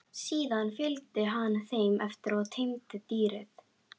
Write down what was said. Síðan fylgdi hann þeim eftir og teymdi dýrið.